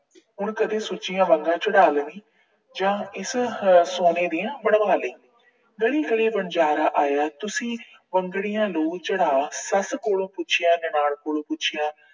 ਹੁਣ ਕਦੇ ਸੁੱਚੀਆਂ ਵੰਗਾਂ ਚੜਾ ਲਵੀਂ ਜਾਂ ਇਸ ਆਹ ਸੋਨੇ ਦੀਆਂ ਬਣਵਾ ਲਈ। ਗਲੀ ਗਲੀ ਵਣਜਾਰਾ ਆਇਆ, ਤੁਸੀਂ ਵੰਗੜੀਆਂ ਲੋ ਚੜਾ। ਸੱਸ ਕੋਲੋ ਪੁੱਛਿਆ, ਨਨਾਣ ਕੋਲੋਂ ਪੁੱਛਿਆ